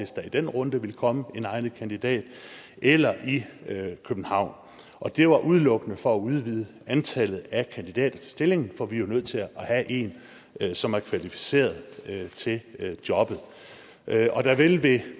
i den runde ville komme en egnet kandidat eller i københavn og det var udelukkende for at udvide antallet af kandidater til stillingen for vi er jo nødt til at have en som er kvalificeret til jobbet og der vil ved